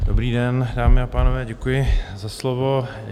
Dobrý den, dámy a pánové, děkuji za slovo.